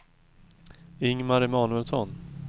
Ingmar Emanuelsson